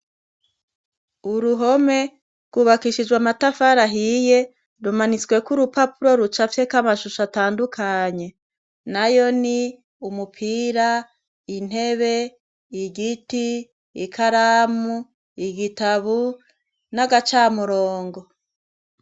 Uruhome rwubakishijwe amatafari ahiye rumanitsweko urupapuro rucafyeko amashusho atandukanye. Nayo ni : umupira, intebe, igiti, ikaramu, igitabu n'agacamurongo.